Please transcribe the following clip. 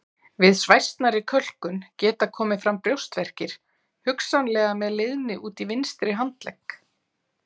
Við svæsnari kölkun geta komið fram brjóstverkir hugsanlega með leiðni út í vinstri handlegg.